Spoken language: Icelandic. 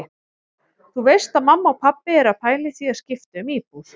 Þú veist að mamma og pabbi eru að pæla í því að skipta um íbúð.